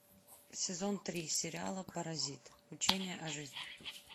сезон три сериала паразит учение о жизни